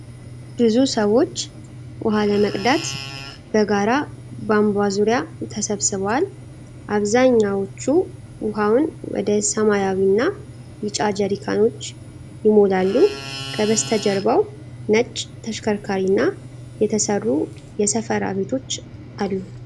ብዙ ሰዎች ውሃ ለመቅዳት በጋራ ቧንቧ ዙሪያ ተሰብስበዋል፡፡ አብዛኛዎቹ ውሃውን ወደ ሰማያዊና ቢጫ ጀሪካኖች ይሞላሉ፡፡ ከበስተጀርባው ነጭ ተሽከርካሪና የተሰሩ የሰፈራ ቤቶች አሉ፡፡